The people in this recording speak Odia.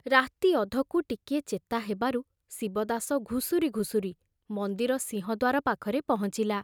ରାତି ଅଧକୁ ଟିକିଏ ଚେତା ହେବାରୁ ଶିବଦାସ ଘୁଷୁରି ଘୁଷୁରି ମନ୍ଦିର ସିଂହଦ୍ବାର ପାଖରେ ପହଞ୍ଚିଲା।